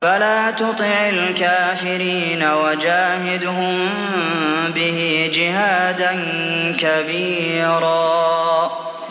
فَلَا تُطِعِ الْكَافِرِينَ وَجَاهِدْهُم بِهِ جِهَادًا كَبِيرًا